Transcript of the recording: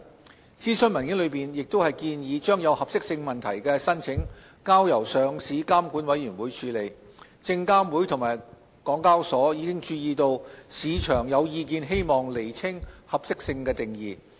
就諮詢文件內建議將有合適性問題的申請交由上市監管委員會處理，證監會及港交所已注意到市場有意見希望釐清合適性定義。